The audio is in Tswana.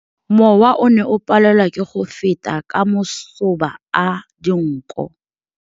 Mowa o ne o palelwa ke go feta ka masoba a dinko.